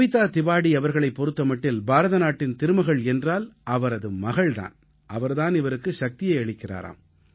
கவிதா திவாடீ அவர்களைப் பொறுத்த மட்டில் பாரதநாட்டின் திருமகள் என்றால் அவரது மகள் தான் அவர் தான் இவருக்கு சக்தியை அளிக்கிறார்